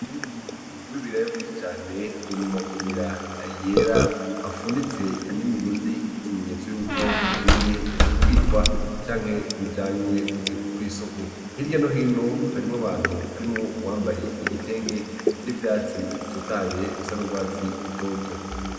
Mwimbuhu w'ibiraya vyinshi cane uri mu magunira yera afunditse n'imigozi y'ikimenyetso yuko bigiye kubikwa canke bijanywe kw'isoko hirya nohino harimwo abantu harimwo uwambaye igitenge n'ivyatsi bitotaye bisa n'ubwatsi rutoto.